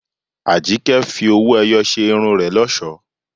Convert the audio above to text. Àjíkẹ́ fi owó-ẹyọ ṣe irun rẹ̀ lọ́ṣọ̀ọ́.